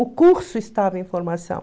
O curso estava em formação.